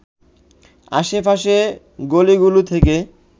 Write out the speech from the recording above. আশে পাশের গলিগুলো থেকে